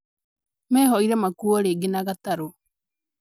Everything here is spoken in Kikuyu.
Mehoire makuo rĩngĩ na gatarũ